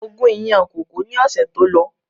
Mo gun ìyàn kókò ni ọ̀sẹ̀ tó lọ